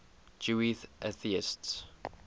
jewish atheists